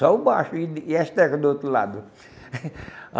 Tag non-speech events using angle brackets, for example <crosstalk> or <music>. Só o baixo e e as teclas do outro lado. <laughs>